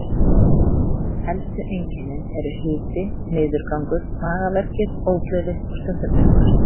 Helstu einkennin eru hiti, niðurgangur, magaverkir, ógleði og stundum uppköst.